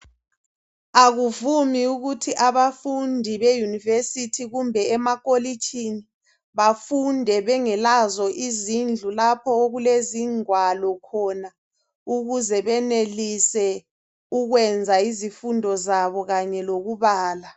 Akuvumi ukuthi abafundi bemayunivesithi kumbe emakolitshini bafunde bengelazo izindlu lapho okulezingwalo khona ukuze benelise ukwenza izifundo zabo kanye lokubala